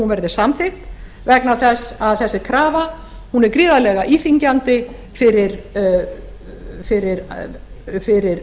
verði samþykkt vegna þess að þessi krafa er gríðarlega íþyngjandi fyrir